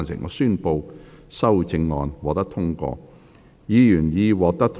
我宣布修正案獲得通過。